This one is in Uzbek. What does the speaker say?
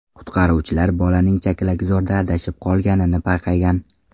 Qutqaruvchilar bolaning chakalakzorda adashib qolganini payqagan.